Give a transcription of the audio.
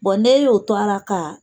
Bɔn ni e y'o to a ra ka